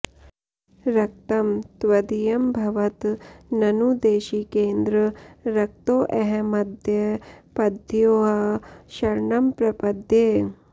रक्तं त्वदीयमभवत् ननु देशिकेन्द्र रक्तोऽहमद्य पदयोः शरणं प्रपद्ये